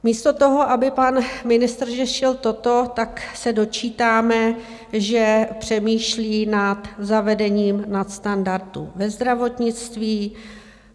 Místo toho, aby pan ministr řešil toto, tak se dočítáme, že přemýšlí na zavedení nadstandardu ve zdravotnictví.